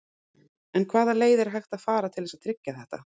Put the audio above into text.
En hvaða leið er hægt að fara til þess að tryggja þetta?